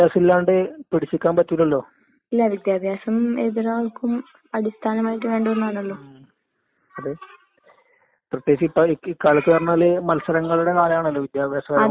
അപ്പോ ഉം ഉം നീ തന്നെ നിനക്ക് പറ്റിയ ജോലി എന്താ നിന്റെ ഞാനെവടെയാണ് ഭാവിയിലെത്തിച്ചേരേണ്ടത് എന്ന് നീ തന്നെ മനസ്സിലാക്കണം. അപ്പ നിനക്ക് എനക്ക് ഇന്നത് പഠിക്കാൻ തോന്നും അഹ് ഇന്നത് പഠിക്കണോ